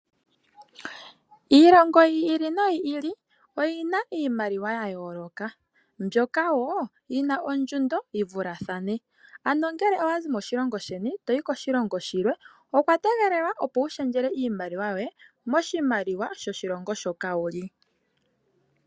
Iilongo yi ili no yi ili oyi na iimaliwa ya yooloka, mbyoka wo yi na ondjundo yi vulathane. Ano ngele owa zi moshilongo sheni toyi koshilongo shilwe owa tegelelwa opo wu shendjele iimaliwa yoye moshimaliwa shoshilongo shoka wu li.